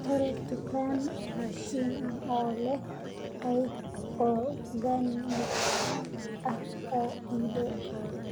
hel dukaan raashin ah oo leh qayb organic ah oo ii dhow